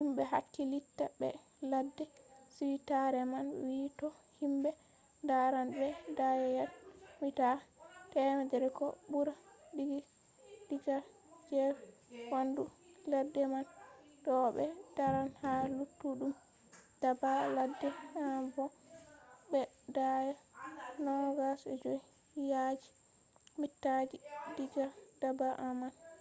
himɓe hakkilitta be ladde suitare man wi to himɓe daran ɓe daya yad/mita 100 ko ɓura diga gefe waandu ladde man to ɓe daran ha luttuɗum daabba ladde en bo ɓe daaya 25 yadji/mitaji diga daaba en man